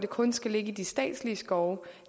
kun skal ligge i de statslige skove